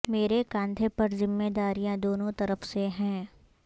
مرے کاندھے پر ذمہ داریاں دونوں طرف سے ہیں